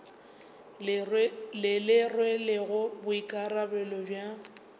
le le rwelego boikarabelo bja